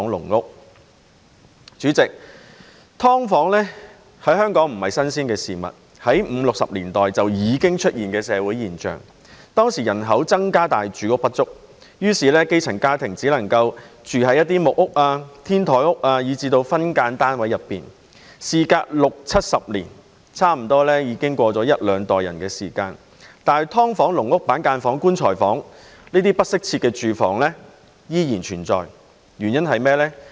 代理主席，"劏房"在香港不是新鮮事物，是在1950年代至1960年代已經出現的社會現象。當時人口增加但住屋不足，於是基層家庭只能住在木屋、天台屋以至分間單位內。時間橫跨六七十年，差不多涉及兩代人，但"劏房"、"籠屋"、板間房、"棺材房"等不適切的住房仍然存在，原因是甚麼？